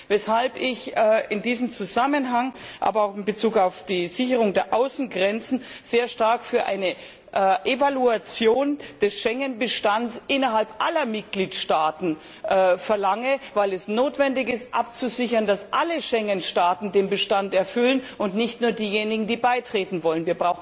Deshalb verlange ich in diesem Zusammenhang, aber auch in Bezug auf die Sicherung der Außengrenzen nachdrücklich eine Evaluierung des Schengen Bestands innerhalb aller Mitgliedstaaten, weil es notwendig ist, abzusichern, dass alle Schengen Staaten den Bestand erfüllen und nicht nur diejenigen, die beitreten wollen.